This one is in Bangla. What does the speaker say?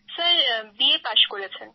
স্যার বিএ পাস করেছেন